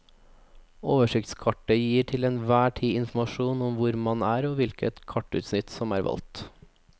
Oversiktskartet gir til enhver tid informasjon om hvor man er og hvilket kartutsnitt som er valgt.